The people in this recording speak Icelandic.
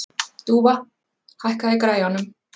Dúfa, hækkaðu í græjunum.